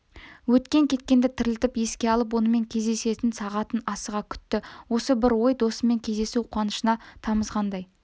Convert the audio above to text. өткен-кеткенді тірілтіп еске алып онымен кездесетін сағатын асыға күтті осы бір ой досымен кездесу қуанышына тамызғандай